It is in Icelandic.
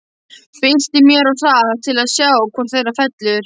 Bylti mér of hratt til að sjá hvor þeirra fellur.